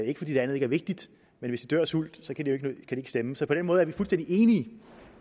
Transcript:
ikke fordi det andet ikke er vigtigt men hvis de dør af sult så kan de jo ikke stemme så på den måde er vi fuldstændig enige